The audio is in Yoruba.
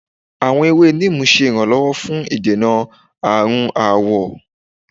Awọn ewe Neem ṣe iranlọwọ fun idena arun awọ.